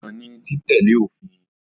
Ìgbọràn ni títẹ̀lé òfin.